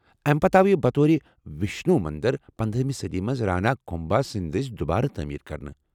امہِ پتہٕ آو یہِ بطور وِشنوٗ مندر پنداہمہ صدی منٛز رانا کُمبھا سندِ دٕسۍ دُبارٕ تٲمیر كرنہٕ